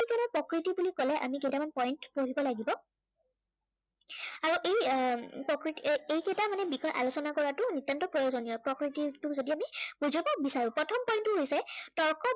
তৰ্ক বিজ্ঞানৰ প্ৰকৃতি বুলি কলে আমি কেইটামান point পঢ়িব লাগিব। আৰু এই এৰ প্ৰকৃতি এই কেইটাৰ মানে বিষয়ে আলোচনা কৰাটো নিতান্ত প্ৰয়োজনীয়। প্ৰকৃতিকটো যদি আমি বুজিব বিচাৰো। প্ৰথম point টো হৈছে